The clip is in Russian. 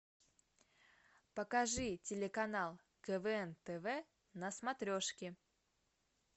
покажи телеканал квн тв на смотрешке